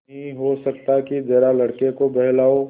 नहीं हो सकता कि जरा लड़के को बहलाओ